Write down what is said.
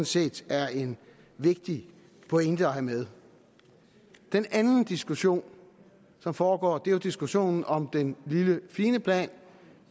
set er en vigtig pointe at have med den anden diskussion som foregår er jo diskussionen om den lille fine plan